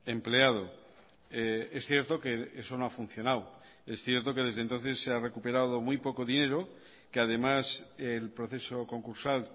empleado es cierto que eso no ha funcionado es cierto que desde entonces se ha recuperado muy poco dinero que además el proceso concursal